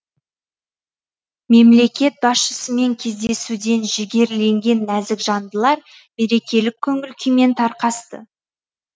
мемлекет басшысымен кездесуден жігерленген нәзік жандылар мерекелік көңіл күймен тарқасты